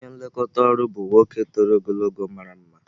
Onye nlekọta ọrụ bụ nwa nwoke toro ogologo ma mara mma.